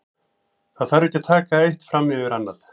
Það þarf ekki að taka eitt fram yfir annað.